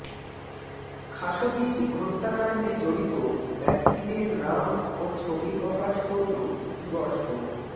খাশোগির হত্যাকাণ্ডে জড়িত ব্যক্তিদের নাম ও ছবি প্রকাশ করল তুরস্ক